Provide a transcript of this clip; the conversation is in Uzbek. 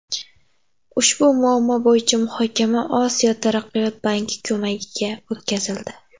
Ushbu muammo bo‘yicha muhokama Osiyo taraqqiyot banki ko‘magida o‘tkazildi.